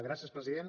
gràcies president